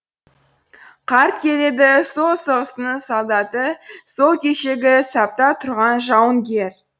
қарт келеді сол соғыстың солдаты сол кешегі сапта тұрған жауынгер